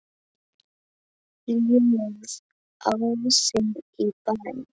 Ljóð: Ási í Bæ